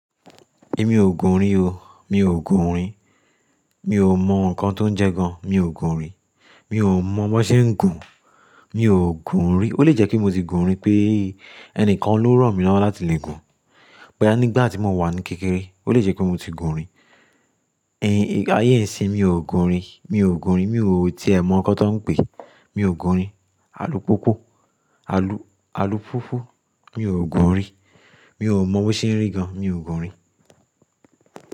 Èmi ò gùn rí o, mi ò gùn rí. Mi ò mọ nnkan tó ń jẹ gan, mi ò gùn rí. Mi ò mọ bó ṣe ń gùn, mi ò gùn rí. Ó lè jẹ́ pé mo ti gùn rí pé ẹnìkan ló rán mi lọ́wọ́ láti lè gùn. Boya nígbà tí mo wà ní kékeré, ó lè jẹ́ pé mo ti gùn rí. Ẹ̀yin, ayé yìí ṣìín mi ò gùn rí, mi ò gùn rí. Mi ò tiẹ̀ mọ nǹkan tó ń pè, mi ò gùn rí. Alùpùpù, alù, alùfúnfú mi ò gùn rí. Mi ò mọ bó ṣe ń rí gan, mi ò gùn rí.